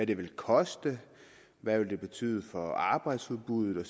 det vil koste hvad det vil betyde for arbejdsudbuddet og